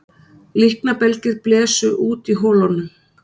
Líknarbelgir blésu út í holunum